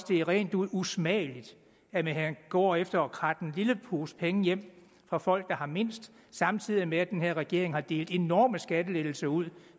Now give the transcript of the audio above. det er rent ud usmageligt at man går efter at kratte en lille pose penge hjem fra folk der har mindst samtidig med at den her regering har delt enorme skattelettelser ud